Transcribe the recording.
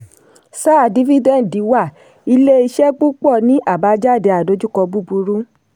sáà dífídẹ́ǹdì wà ilé iṣẹ́ púpọ̀ ní àbájáde àdojúkọ búburú.